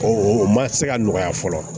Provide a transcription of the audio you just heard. O o ma se ka nɔgɔya fɔlɔ